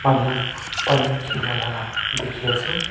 aanu pani khela laga dekhi ase.